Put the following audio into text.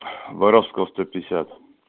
воровского сто пятдесят